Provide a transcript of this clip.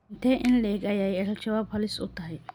Intee in le'eg ayay Al-shabaab halis u tahay?